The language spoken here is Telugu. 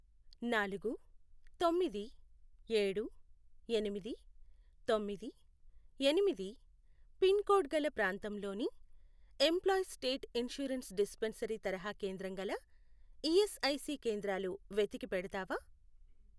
నాలుగు, తొమ్మిది, ఏడు, ఎనిమిది, తొమ్మిది, ఎనిమిది, పిన్ కోడ్ గల ప్రాంతంలోని ఎంప్లాయీస్ స్టేట్ ఇన్షూరెన్స్ డిస్పెన్సరీ తరహా కేంద్రం గల ఈఎస్ఐసి కేంద్రాలు వెతికి పెడతావా?